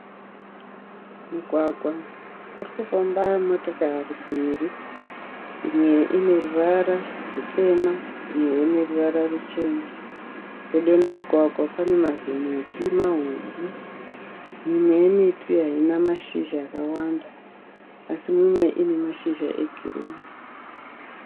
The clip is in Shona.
Mugwagwa. Kuri kufamba motokari mberi. Imwe ine ruvara rwutema, imwe ine ruvara rwuchena. Pedo nemugwagwa pane mazimiti mahombe. Mimwe yemiti haina mashizha akawanda asi imwe ine mashizha egirini.